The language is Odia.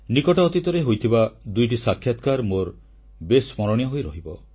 ନିକଟ ଅତୀତରେ ହୋଇଥିବା ଦୁଇଟି ସାକ୍ଷାତକାର ମୋର ବେଶ୍ ସ୍ମରଣୀୟ ହୋଇରହିବ